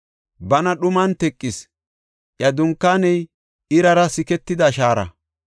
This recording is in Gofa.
Bana dhuman teqis; iya dunkaaney irara siketida shaara.